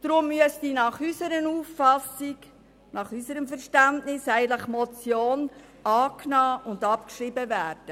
Deshalb müsste die Motion nach unserer Auffassung und unserem Verständnis eigentlich angenommen und abgeschrieben werden.